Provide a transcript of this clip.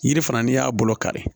Yiri fana n'i y'a bolo kari